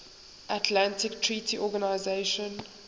atlantic treaty organisation